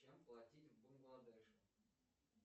чем платить в бангладеше